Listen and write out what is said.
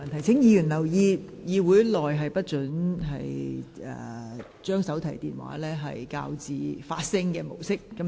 請議員留意，會議廳內手提電話不應調校至發聲模式。